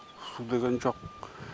су деген жоқ